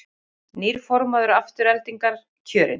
Nýr formaður Aftureldingar kjörinn